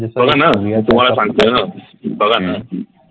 बघा न सांगतोय न